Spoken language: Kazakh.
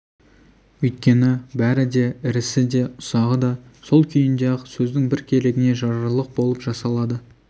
өйткені бәрі де ірісі де ұсағы да сол күйінде-ақ сөздің бір керегіне жарарлық болып жасалады